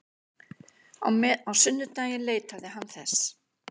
Á sunnudaginn leitaði hann þess.